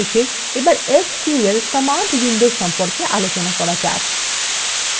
অবশেষে এবার sql command window সম্পর্কে আলোচনা করা যাক